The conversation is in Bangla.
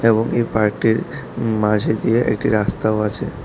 এবং এই পার্কটির উম মাঝে দিয়ে একটি রাস্তাও আছে।